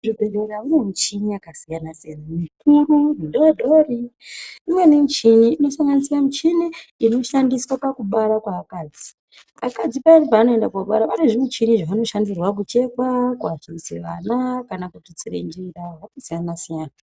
Muzvibhedhlera mune muchini yakasiyana siyana mikuru, midodori , imweni michini inosanganisire michini inoshandiswa pakubara kweakadzi. Akadzi payani pawanoenda kobara pane zvimuchini zvavanoshandirwa kuchekwa kuadhimise vana kana ikututsire njira zvakasiyana siyana.